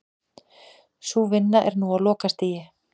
Sú vinna er nú á lokastigi